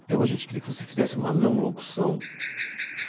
Então a gente queria que você fizesse uma não-locução.